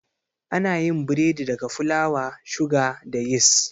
Anayin biredi daga fulawa, suga, da yis